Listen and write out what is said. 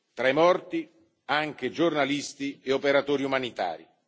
Tra i morti anche giornalisti e operatori umanitari.